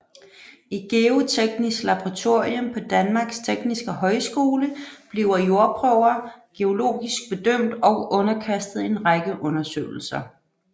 I Geoteknisk Laboratorium på Danmarks Tekniske Højskole bliver jordprøver geologisk bedømt og underkastet en række undersøgelser